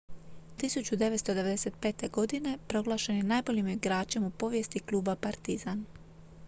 1995. godine proglašen je najboljim igračem u povijesti kluba partizan